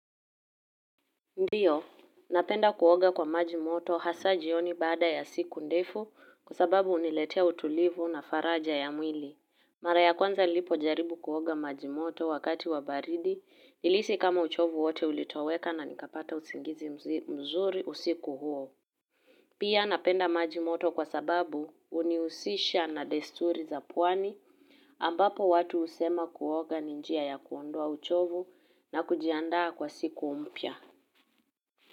Ndiyo, napenda kuoga kwa maji moto hasa jioni baada ya siku ndefu kwa sababu huniletea utulivu na faraja ya mwili. Mara ya kwanza nilipojaribu kuoga maji moto wakati wa baridi nilihisi kama uchovu wote ulitoweka na nikapata usingizi mzuri usiku huo. Pia napenda maji moto kwa sababu hunihusisha na desturi za pwani ambapo watu husema kuoga ni njia ya kuondoa uchovu na kujiandaa kwa siku mpya.